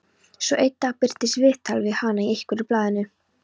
Svo einn dag birtist viðtal við hana í einhverju blaðinu.